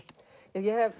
ég hef